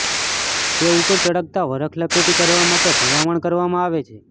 તે ઉપર ચળકતા વરખ લપેટી કરવા માટે ભલામણ કરવામાં આવે છે